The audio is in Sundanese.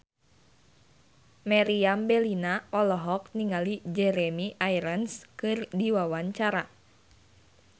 Meriam Bellina olohok ningali Jeremy Irons keur diwawancara